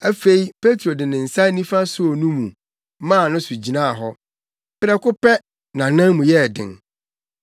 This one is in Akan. Afei Petro de ne nsa nifa soo no mu maa no so gyinaa hɔ. Prɛko pɛ, nʼanan mu yɛɛ den.